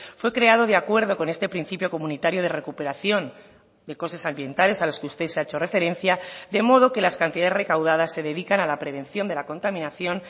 fue creado de acuerdo con este principio comunitario de recuperación de costes ambientales a los que usted se ha hecho referencia de modo que las cantidades recaudadas se dedican a la prevención de la contaminación